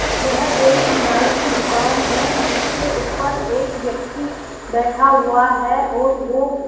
यह एक नाई की दुकान है जिसके ऊपर एक व्यक्ति बैठा हुआ है और ओ --